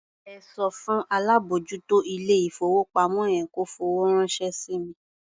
Ẹ sọ fún alábòójútó ilé-ìfowópamọ́ yẹn kó fowó ránṣẹ́ sí mi.